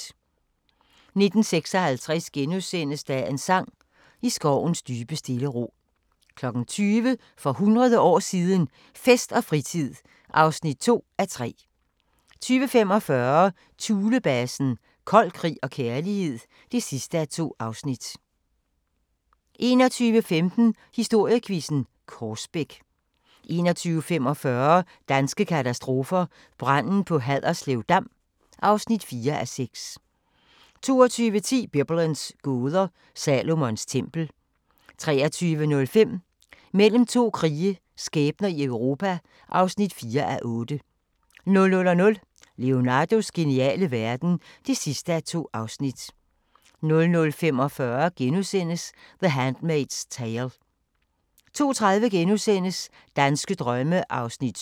19:56: Dagens sang: I skovens dybe stille ro * 20:00: For hundrede år siden – Fest og fritid (2:3) 20:45: Thulebasen – kold krig og kærlighed (2:2) 21:15: Historiequizzen: Korsbæk 21:45: Danske katastrofer – Branden på Haderslev Dam (4:6) 22:10: Biblens gåder – Salomons tempel 23:05: Mellem to krige – skæbner i Europa (4:8) 00:00: Leonardos geniale verden (2:2) 00:45: The Handmaid's Tale * 02:30: Danske drømme (7:10)*